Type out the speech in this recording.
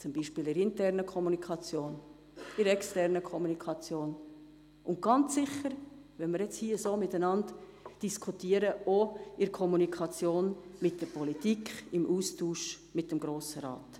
Das betrifft die interne, aber auch die externe Kommunikation und sicherlich auch die Kommunikation gegenüber der Politik und den Austausch mit dem Grossen Rat.